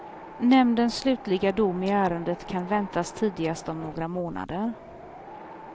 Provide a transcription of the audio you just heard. Nämndens slutliga dom i ärendet kan väntas tidigast om några månader.